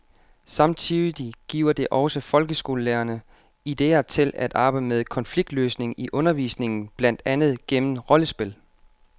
Samtidig giver det også folkeskolelærerne idéer til at arbejde med konfliktløsning i undervisningen, blandt andet gennem rollespil.